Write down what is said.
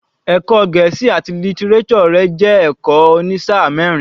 Ẹ̀kọ́ Gẹ̀ẹ́sì àti lítíréṣọ̀ rẹ̀ jẹ́ ẹ̀kọ́ òní sáà mẹ́rin.